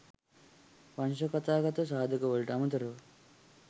වංශකථාගත සාධකවලට අමතරව